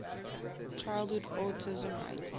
childhood autism rating